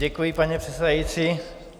Děkuji, paní předsedající.